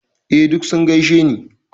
Eh, duk sun gaishe ni.